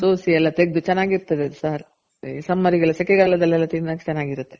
ಸೋಸಿ ಎಲ್ಲ ತೆಗದು ಚೆನಾಗಿರ್ತದೆ ಅದು ಸಾರು ಈ summer ಗೆಲ್ಲ ಸೆಕೆ ಗಾಲದಲ್ಲಿ ಎಲ್ಲ ತಿನ್ನಕ್ ಚೆನಾಗಿರುತ್ತೆ.